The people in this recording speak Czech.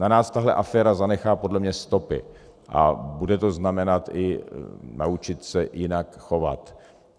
Na nás tahle aféra zanechá podle mě stopy a bude to znamenat i naučit se jinak chovat.